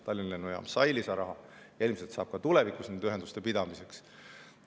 Tallinna Lennujaam sai lisaraha ja ilmselt saab seda ka tulevikus nende ühenduste pidamiseks.